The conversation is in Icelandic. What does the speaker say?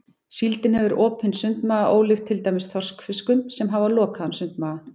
Síldin hefur opinn sundmaga ólíkt til dæmis þorskfiskum sem hafa lokaðan sundmaga.